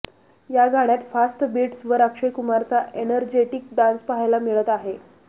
या गाण्यात फास्ट बीट्सवर अक्षय कुमारचा एनर्जेटिक डान्स पाहायला मिळत आहे